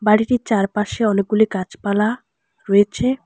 বাড়িটির চারপাশে অনেকগুলি গাছপালা রয়েছে।